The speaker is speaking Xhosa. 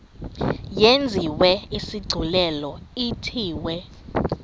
yenziwe isigculelo ithiwe